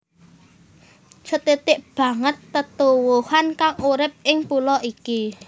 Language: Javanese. Sethithik banget tetuwuhan kang urip ing pulo iki